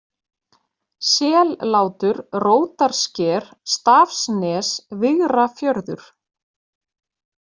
Sellátur, Rótarsker, Stafsnes, Vigrafjörður